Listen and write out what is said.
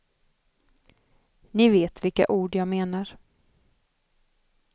Ni vet vilka ord jag menar.